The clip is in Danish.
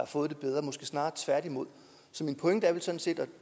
fået det bedre måske snarere tværtimod så min pointe er vel sådan set og